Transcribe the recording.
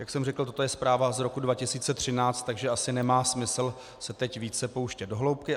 Jak jsem řekl, toto je zpráva z roku 2013, takže asi nemá smysl se teď více pouštět do hloubky.